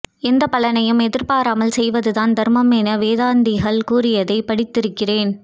எந்தப் பலனையும் எதிர்பாராமல் செய்வதுதான் தர்மம் என வேதாந்திகள் கூறியதைப் படித்து இருக்கிறேன்